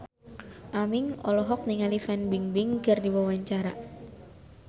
Aming olohok ningali Fan Bingbing keur diwawancara